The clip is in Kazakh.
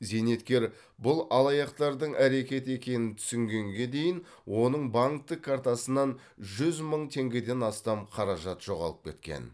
зейнеткер бұл алаяқтардың әрекеті екенін түсінгенге дейін оның банктік картасынан жүз мың теңгеден астам қаражат жоғалып кеткен